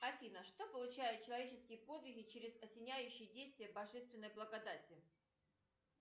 афина что получают человеческие подвиги через осеняющие действия божественной благодати